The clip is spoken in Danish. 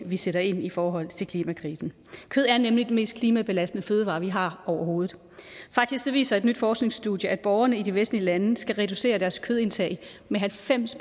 vi sætter ind i forhold til klimakrisen kød er nemlig den mest klimabelastende fødevare vi har overhovedet faktisk viser et nyt forskningsstudie at borgerne i de vestlige lande skal reducere deres fødeindtag med halvfems